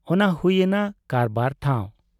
ᱚᱱᱟ ᱦᱩᱭ ᱮᱱᱟ ᱠᱟᱨᱵᱟᱨ ᱴᱷᱟᱶ ᱾